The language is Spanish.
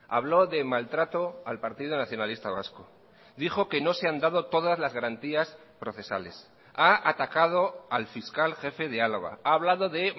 habló de maltrato al partido nacionalista vasco dijo que no se han dado todas las garantías procesales ha atacado al fiscal jefe de álava ha hablado de